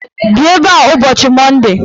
Bịa ebe a ụbọchị Monde!